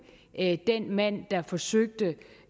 den mand der forsøgte